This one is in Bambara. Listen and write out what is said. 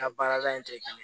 Ka baarada in tɛ kelen ye